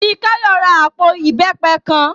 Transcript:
Fikáyọ̀ ra àpò ìbẹ́pẹ kan